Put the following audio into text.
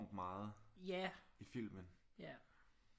Meget i filmen